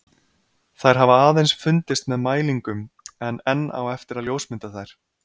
Þær hafa aðeins fundist með mælingum en enn á eftir að ljósmynda þær.